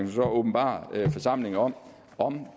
så åbenbare for forsamlingen om om